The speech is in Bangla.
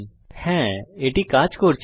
হ্যাঁ এটি কাজ করছে